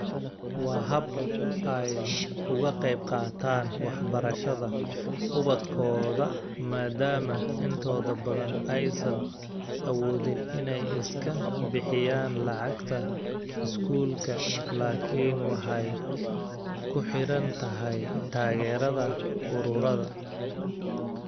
Waa hab ay uga qaybqaataan waxbarashada ubadkooda maadaama intooda badan aysan awoodin inay iska bixiyaan lacagta iskuulka laakiin waxay ku xiran tahay taageerada ururada.